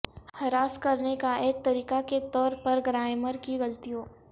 ہراس کرنے کا ایک طریقہ کے طور پر گرائمر کی غلطیوں